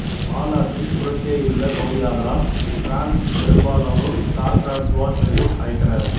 வால் ஆற்றின் புறத்தேயுள்ளே பகுதியாதலால் டிரான்சு பெரும்பாலானோர் சார் டிரான்சுவால் என்றும் அழைத்தனர்